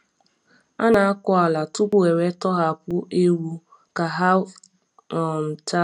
A na-akụ ala tupu ewe tọhapụ ewu ewe tọhapụ ewu ka ha um taa ahịhịa.